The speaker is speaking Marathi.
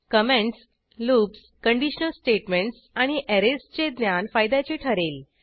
कॉमेंटस लूप्स कंडिशनल स्टेटमेंटस आणि ऍरेजचे ज्ञान फायद्याचे ठरेल